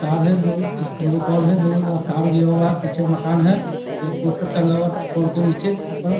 तार है दो दो गो पोल दो गो तार गया हुआ है पीछे मकान है एक पोस्टर टंगा हुआ पोल के नीचे ऊपर --